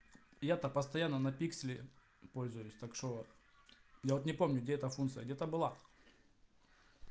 я-то постоянно на пиксели пользуюсь так что вот я вот не помню где эта функция где-то была